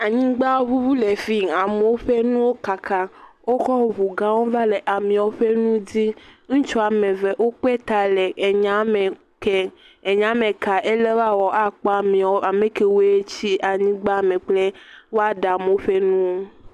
Anyigba ŋuŋu le fii. Amewo ƒe nuwo kaka. Wokɔ ŋugãwo va le amewo ƒe nu di. Ŋutsu am eve wokpe ta le enyame kem, enyame ka, ele woawɔ akpɔ amewo, ame kewoe tsi anyigbame kple kple woaɖe amewo ƒe nuwo.